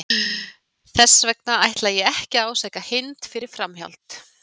Þess vegna ætla ég ekki að ásaka Hind fyrir framhjáhald.